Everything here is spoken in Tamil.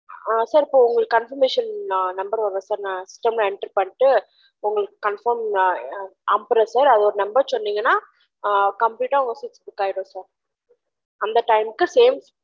அ உங்கலுகு confirmation number வரும் sir நான் சொன்ன enter பன்னிடு உங்கலுகு confirm அனுபுரென் sir அதொட number சொன்னிங்கன அ complete டா book பூக் ஆயிரும் sir அந்த time கு same